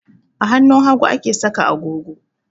A hannun hagu ake saka agogo